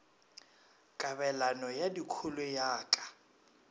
kabelano ya dikholo ya ka